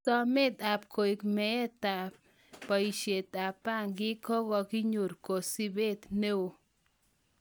Somet ap koek maetan baishet ap bangi ko konyor kasubeet neeo